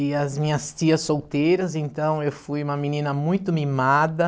E as minhas tias solteiras, então eu fui uma menina muito mimada.